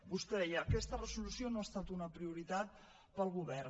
vostè deia aquesta resolució no ha estat una prioritat pel govern